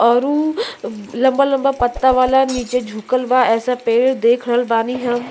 औउरु लम्बा लम्बा पत्ता वाला नीचे झुकल बा एसा पेड़ देख रहल बानी हम।